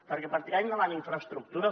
perquè per tirar endavant infraestructures